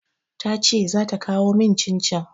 Ta ce za ta kawo min cin-cin.